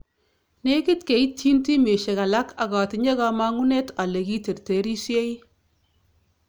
Negit keityintimisyek alaak ak atinye kamong'unet ale kiterterisyei